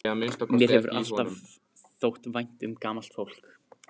Mér hefur alltaf þótt vænt um gamalt fólk.